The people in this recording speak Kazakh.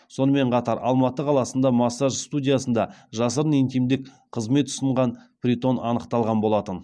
сонымен қатар алматы қаласында массаж студиясында жасырын интимдік қызмет ұсынған притон анықталған болатын